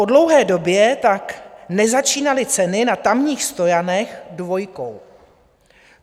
Po dlouhé době tak nezačínaly ceny na tamních stojanech dvojkou.